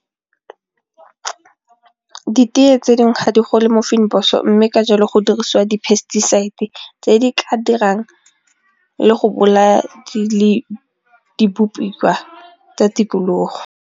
Ditee tse dingwe ga di gole mo mme ka jalo go dirisiwa di-pesticides tse di ka dirang le go bolaya tsa tikologo.